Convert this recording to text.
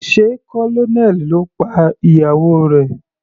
Sé Colonel ló pa ìyàwó rẹ̀.